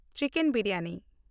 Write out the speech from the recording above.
chicken biryani